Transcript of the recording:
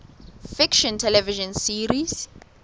fiction television series